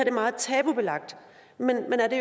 er meget tabubelagt men er det